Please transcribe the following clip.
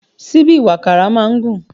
Síbí ìwàkàrà máa ń gùn